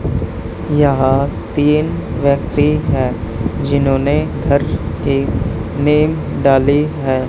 यहां तीन व्यक्ति हैं जिन्होंने घर के नेम डाले हैं।